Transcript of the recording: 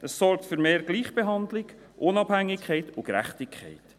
Es sorgt für mehr Gleichbehandlung, Unabhängigkeit und Gerechtigkeit.